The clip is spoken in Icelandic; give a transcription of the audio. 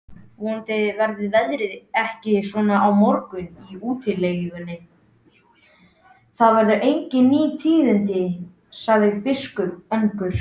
Vonandi verður veðrið ekki svona á morgun í úti- legunni